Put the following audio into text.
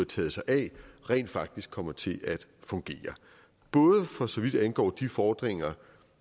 taget sig af rent faktisk kommer til at fungere både for så vidt angår de fordringer